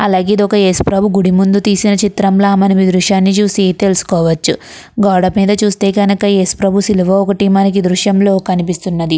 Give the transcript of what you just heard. అలాగే ఇదొక యేసుప్రభు గుడి ముందు తీసిన చిత్రంలా మనం ఈ దృశ్యాన్ని చూసి తెలుసుకోవచ్చు. గోడ మీద చూస్తే గనుక యేసుప్రభు సిలువ ఒకటి మనకి ఈ దృశ్యంలో కనిపిస్తున్నది.